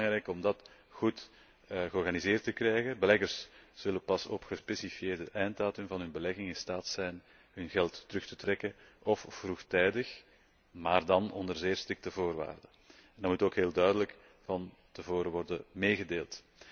Dus het was belangrijk om dat goed georganiseerd te krijgen. Beleggers zullen pas op een gespecifieerde einddatum van hun belegging in staat zijn hun geld terug te trekken, ofwel vroegtijdig, maar dan onder zeer strikte voorwaarden en dat moet ook heel duidelijk van tevoren worden meegedeeld.